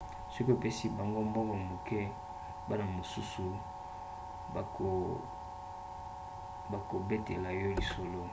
soki opesi bango mbongo moke bana mosusu bakobetela yo lisolo